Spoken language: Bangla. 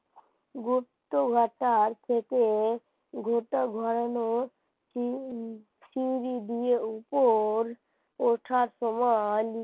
আর কে কে গোটা ঘরের চিংড়ি দিয়ে উপর ওঠার সময়